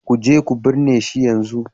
Ku je ku binne shi yanzu!